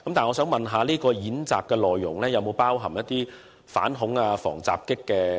我想問，演習內容是否包含反恐及防襲的元素？